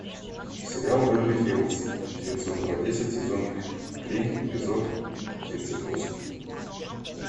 сериал беверли хиллз девятьсот два десять сезон три эпизод тридцать восемь